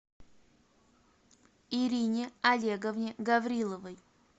ирине олеговне гавриловой